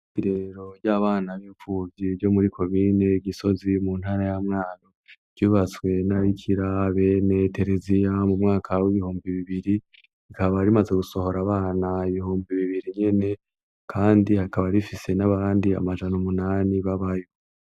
Irerero ry'abana b'impfuvyi ryo muri komine gisozi muntara ya mwaro ryubatswe n'ababikira bene tereziya mumwaka w'ibihumbi bibiri rikaba rimaze gusohora abana ibihumbi bibiri nyene kandi hakaba rifise nabandi amajana umunani babayo.